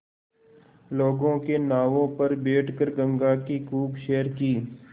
लोगों के नावों पर बैठ कर गंगा की खूब सैर की